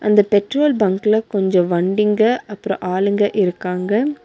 இந்த பெட்ரோல் பங்க்ல கொஞ்சம் வண்டிங்க அப்புறம் ஆளுங்க இருக்காங்க.